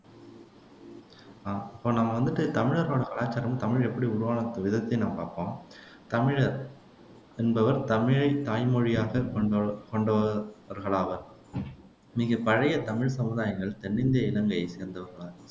இப்போ நாம வந்துட்டு தமிழர்களோட கலாச்சாரமும் தமிழ் எப்படி உருவான விதத்தையும் நம்ம பாப்போம் தமிழர் என்பவர் தமிழைத் தாய்மொழியாகக் கொண்ட கொண்டவர்களாவர் மிகப் பழைய தமிழ்ச் சமுதாயங்கள் தென்னிந்திய இலங்கையைச் சேர்ந்தவைகள்